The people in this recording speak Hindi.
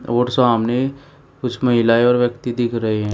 और सामने कुछ महिलाएं और व्यक्ति दिख रहे हैं।